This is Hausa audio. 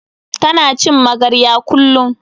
Ta na cin magarya kullun